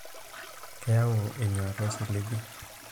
keyau enyauata osiligi